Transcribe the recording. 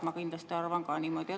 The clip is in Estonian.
Ma kindlasti arvan ka niimoodi.